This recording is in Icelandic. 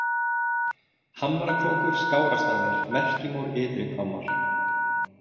Hamrakrókur, Skárastaðir, Merkimór, Ytrihvammar